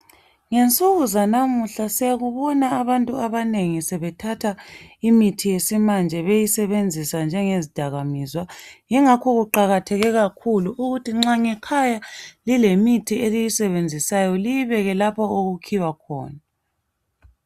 Ngensuku zanamuhla siyakubona abantu abanengi sebethatha imithi yesimanje beyisebenzisa njengezidakamizwa ingakho kuqakatheke kakhulu ukuthi nxa ngekhaya lilemithi eliyisebenzisayo liyibekwe lapho okukhiywa khona.